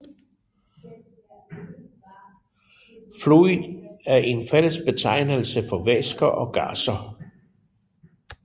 Fluid er en fællesbetegnelse for væsker og gasser